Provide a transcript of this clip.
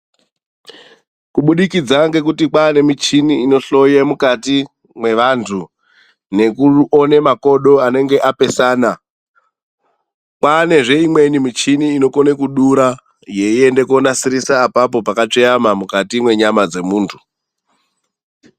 Kubudikidza ngekuti kwaane michini inohloye mukati mwevanthu yeiona panenge pakatsveyama ,kwaanezve imweni inokone kudura yeizonasirisa pona apapo panenge pakatsveyama mukati mwenyama dzemuntu.